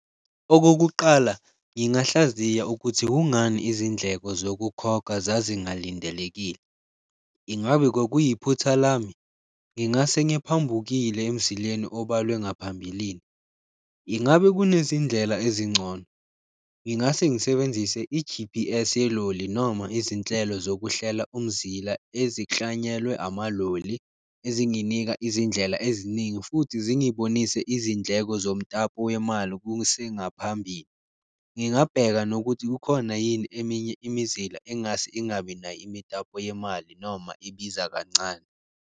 Okokuqala ngingahlaziya ukuthi kungani izindleko zokukhokha zazingalindelekile, ingabe kwakuyiphutha lami? Ngingase ngiphambukile emzileni obalwe ngaphambilini, ingabe kunezindlela ezingcono? Ngingase ngisebenzise i-G_P_S yeloli noma izinhlelo zokuhlela umzila eziklanyelwe amaloli ezinginika izindlela eziningi futhi zingibonise izindleko zomtapo wemali kusengaphambili, ngingabheka nokuthi kukhona yini eminye imizila engase ingabi nayo imitapo yemali noma ibiza kancane.